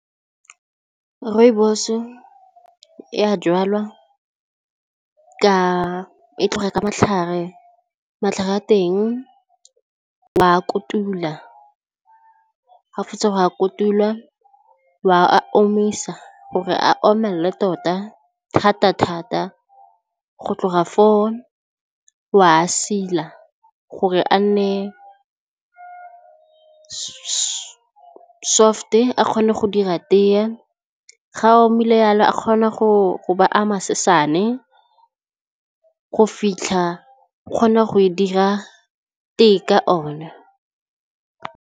Rooibos-e e a jalwa ka e tlhoga ka matlhare, matlhare a teng wa a kotula ga o fetsa go a kotulwa, wa omisa gore a omelele tota thata thata, go tloga foo wa a sila gore a nne soft-e a kgone go dira tee, ga omile yalo a kgona go ba a masesane go fitlha o kgona go e dira tee ka ona.